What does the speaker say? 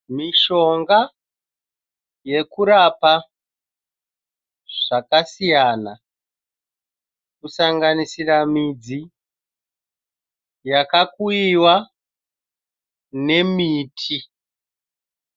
Mishonga yekurapa zvakasiyana kusanganisira midzi yakakuyiwa nemiti.